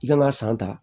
I kan ka san ta